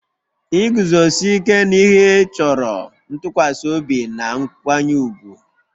Iguzosi ike n'ihe chọrọ ntụkwasị obi na nkwanye ùgwù